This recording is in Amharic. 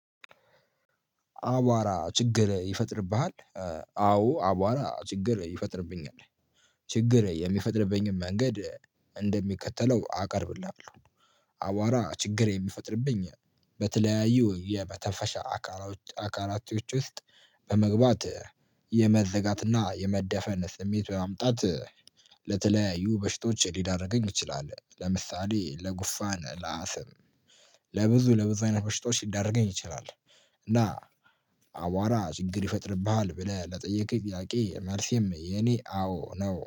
አቧራ ችግር ይፈጥርብሃል? አዎ አቧራ ችግር ይፈጥርብኛል። ችግር የሚፈጥርብኝን መንገድ እንደሚከተለው አቀርብልሃለሁ። አቧራ ችግር የሚፈጥርብኝ በተለያዩ የመተንፈሻ አካላ አካላቶች ውስጥ በመግባት የመዘጋትና የመደፈን ስሜት በማምጣት ለተለያዩ በሽቶች ሊዳርገኝ ይችላል። ለምሳሌ ለጉፋን ለአስም ለብዙ ለብዙ አይነት ብሽቶች ሊዳርገኝ ይችላል። እና አዋራ ችግር ይፈጥርብሃል ብለህ ለጠየከኝ ጥያቄ መልሴም የኔ አዎ ነው።